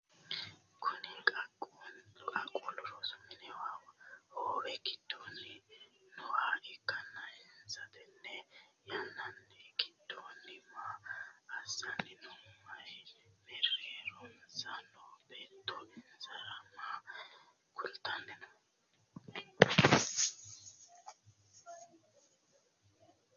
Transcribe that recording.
Kunni qaaqquuli rosu minni hoowe gidoonni nooha ikanna insano tenne yanna gidoonni maa asanni no? Meeronsa noo beetto insara maa kultanni no?